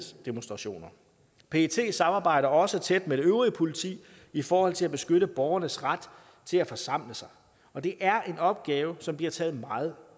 demonstrationer pet samarbejder også tæt med det øvrige politi i forhold til at beskytte borgeres ret til at forsamle sig og det er en opgave der bliver taget meget